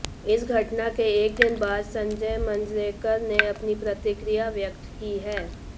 इस घटना के एक दिन बाद संजय मांजरेकर ने अपनी प्रतिक्रिया व्यक्त की है